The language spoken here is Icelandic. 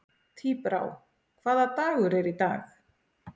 Tíbrá, hvaða dagur er í dag?